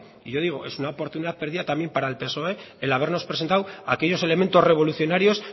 y yo digo es una oportunidad perdida también para el psoe el habernos presentado aquellos elementos revolucionarios